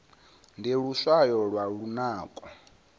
ndi luswayo lwa lunako